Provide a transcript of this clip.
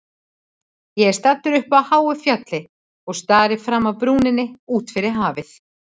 Ég er staddur uppi á háu fjalli og stari fram af brúninni út yfir hafið.